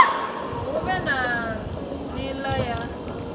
hu vhe na nila ya